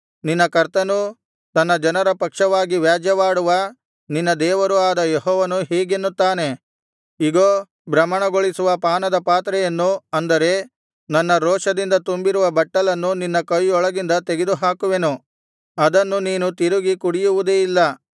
ನಿನ್ನ ಕರ್ತನೂ ತನ್ನ ಜನರ ಪಕ್ಷವಾಗಿ ವ್ಯಾಜ್ಯವಾಡುವ ನಿನ್ನ ದೇವರೂ ಆದ ಯೆಹೋವನು ಹೀಗೆನ್ನುತ್ತಾನೆ ಇಗೋ ಭ್ರಮಣಗೊಳಿಸುವ ಪಾನದ ಪಾತ್ರೆಯನ್ನು ಅಂದರೆ ನನ್ನ ರೋಷದಿಂದ ತುಂಬಿರುವ ಬಟ್ಟಲನ್ನು ನಿನ್ನ ಕೈಯೊಳಗಿಂದ ತೆಗೆದುಹಾಕುವೆನು ಅದನ್ನು ನೀನು ತಿರುಗಿ ಕುಡಿಯುವುದೇ ಇಲ್ಲ